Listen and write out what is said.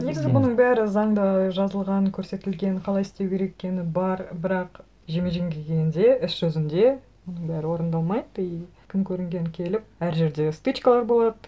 негізі бұның бәрі заңда жазылған көрсетілген қалай істеу керек екені бар бірақ жеме жемге келгенде іс жүзінде бұның бәрі орындалмайды и кім көрінген келіп әр жерде стычкалар болады